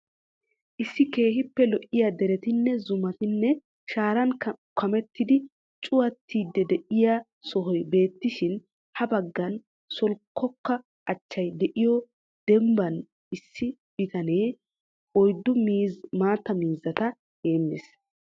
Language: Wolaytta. Issi keehiippe lo'iya derettinne, zumattine shaaran kamettidi cuwattidi diyo sohoy beetishin ha bagan solkkoka aaccay de'iyo dembbaan issi bittannee oyddu maattaa mizzata heemmees.